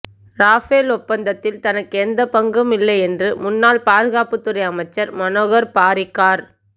Rafale ஒப்பந்தத்தில் தனக்கு எந்தப் பங்கும் இல்லை என்று முன்னாள் பாதுகாப்புத்துறை அமைச்சர் மனோகர் பாரிக்கர்